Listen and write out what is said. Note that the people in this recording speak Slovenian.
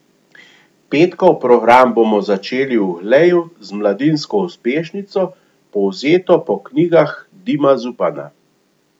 Petkov program bomo začeli v Gleju z mladinsko uspešnico, povzeto po knjigah Dima Zupana.